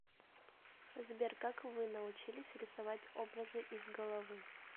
сбер как вы научились рисовать образы из головы